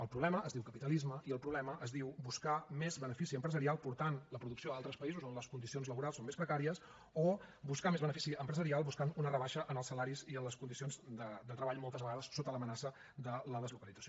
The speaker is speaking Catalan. el problema es diu capitalisme i el problema es diu buscar més benefici empresarial portant la producció a altres països on les condicions laborals són més precàries o buscar més benefici empresarial buscant una rebaixa en els salaris i en les condicions de treball moltes vegades sota l’amenaça de la deslocalització